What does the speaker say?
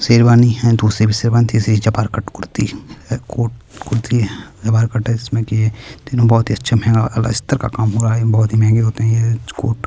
शेरवानी है दूसरी भी शेरवानी तीसरी चपाल कट कुर्ती है कोट कुर्ती जकार कट है जिसमे की तीनो बहुत ही अच्छे है और अल्सतर का काम हो रहा है ये बहुत ही महंगे होते है ये कोट --